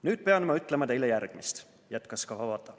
Nüüd pean ma ütlema, teile järgmist," jätkas Kawabata.